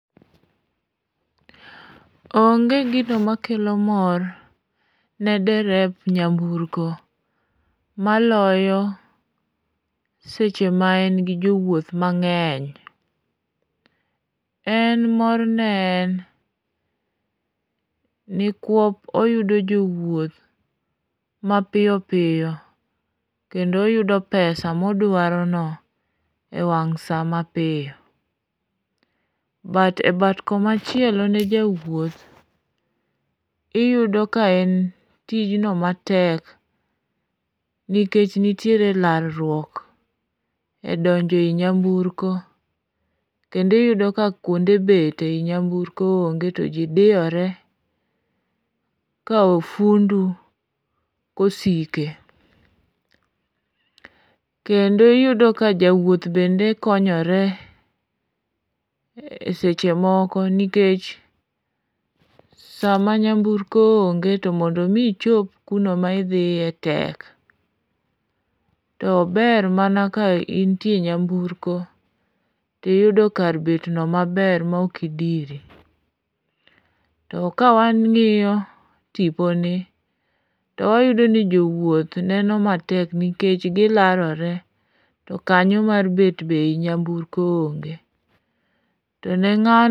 Onge gino makelo mor ne derep nyamburko maloyo seche ma en gi jowuoth mang'eny. En morne en nikuop oyudo jowuoth mapiyopiyo kendo oyudo pesa modwarono e wang' sa mapiyo. E bat komachielo ne jawuoth, iyudo ka en tijno matek nikech nitiere larruok e donjo e i nyamburko kendo iyudo ka kuonde bet e nyamburko onge to ji diyore ka ofundu kosike. Kendo iyudo ka jawuoth bende konyore seche moko nikech sama nyamburko onge to mondo mi ichop kuno ma idhiye tek, to ober mana ka intie e nyamburko tiyudo kar betno maber maok idiri. To ka wang'iyo tiponi to wayudo ni jowuoth neno matek nikech gilarore to kanyo mar bet be i nyamburko be onge. To ne ng'ano...